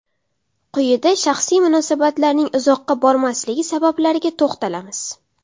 Quyida shaxsiy munosabatlarning uzoqqa bormasligi sabablariga to‘xtalamiz.